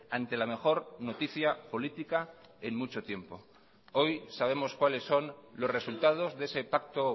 ante la mejor noticia política en mucho tiempo hoy sabemos cuáles son los resultados de ese pacto